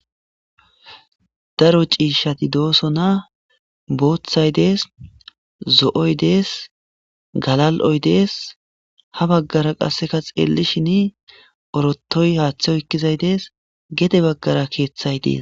Daro c'ishati dosona bothay des zo'oy des galal'oy des ha bagara qaseka xelishini orotay hate oykizay des gede bagara kethay des.